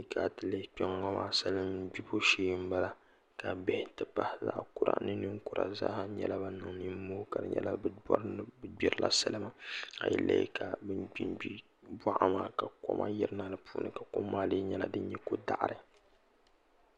N tiɛhi ti yi lihi kpɛ ŋo maa salin gbibo shee n bala ka bihi ti pahi zaɣ kura ni ninkura nyɛla bin niŋ nimoo n bori salima a yi lihi bin gbingbi boɣa maa ka koma yirina di puuni kom maa lee nyɛla din nyɛ ko daɣari